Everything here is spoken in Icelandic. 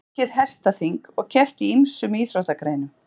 Það var haldið hestaþing og keppt í ýmsum íþróttagreinum.